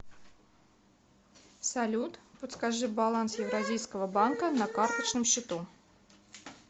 салют подскажи баланс евразийского банка на карточном счету